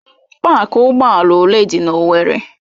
Pááki ụgbọ ala ole dị na owerri?